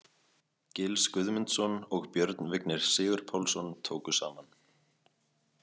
Gils Guðmundsson og Björn Vignir Sigurpálsson tóku saman.